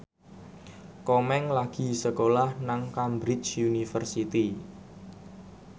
Komeng lagi sekolah nang Cambridge University